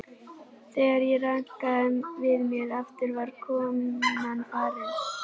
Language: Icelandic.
Þegar ég rankaði við mér aftur var konan farin.